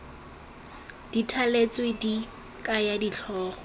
di thaletsweng di kaya ditlhogo